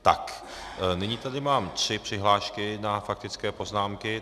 Tak, nyní tady mám tři přihlášky na faktické poznámky.